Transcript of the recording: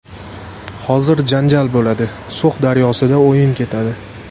Hozir janjal bo‘ladi, So‘x daryosida o‘yin ketadi.